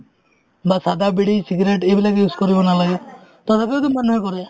বা চাধা, বিড়ি, cigarette এইবিলাক use কৰিব নালাগে তথাপিওতো মানুহে কৰে